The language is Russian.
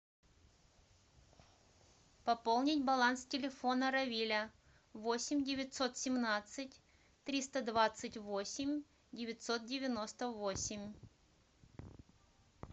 пополнить баланс телефона равиля восемь девятьсот семнадцать триста двадцать восемь девятьсот девяносто восемь